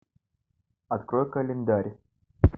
открой календарь